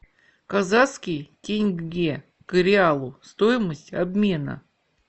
казахский тенге к реалу стоимость обмена